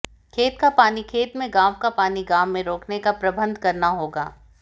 खेत का पानी खेत में गांव का पानी गांव में रोकने का प्रबंध करना होगा